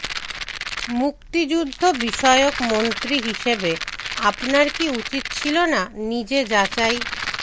মুক্তিযুদ্ধবিষয়ক মন্ত্রী হিসেবে আপনার কি উচিত ছিল না নিজে যাচাই